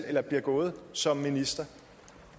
eller bliver gået som minister